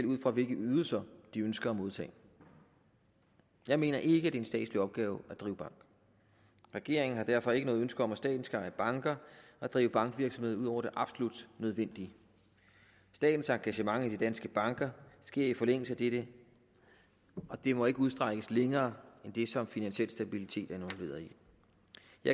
ud fra hvilke ydelser de ønsker at modtage jeg mener ikke er en statslig opgave at drive bank regeringen har derfor ikke noget ønske om at staten skal eje banker og drive bankvirksomhed ud over det absolut nødvendige statens engagement i de danske banker sker i forlængelse af dette og det må ikke udstrækkes længere end det som finansiel stabilitet i jeg